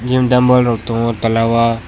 gym dumble rok tongo tola o.